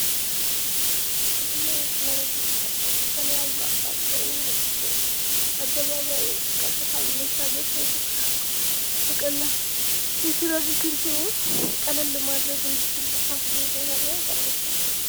ይህ ደግሞ የቀለበት መንገድ ነው። ከተለያዩ አቅጣጫ የሚመጡትን አደባባዩን ቀጥታ መሻገር ሳይጠበቅባው በቀላሉ የትራፊክ እንትኑን ቀለል ማድረግ እንድችሉ ታስቦ የተሰራ የቀለበት መንገድ ነው።